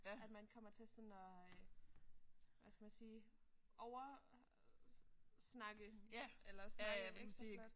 At man kommer til at sådan hvad skal man sige over snakke eller snakke ekstraflot